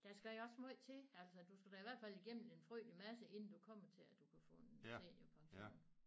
Der skal jo også måj til altså du skal da i hvert fald gennem en frygtelig masse inden du kommer til at du kan få en seniorpension